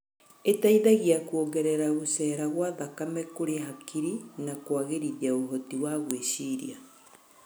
Ĩteithagia kuongerera gũcera gwa thakame kũrĩ hakiri na kũagĩrithia ũhoti wa gwĩciria.